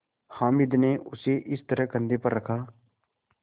हामिद ने उसे इस तरह कंधे पर रखा